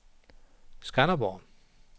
Skanderborg